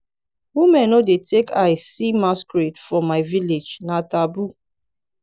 women no dey take eye see masquerade for my village na taboo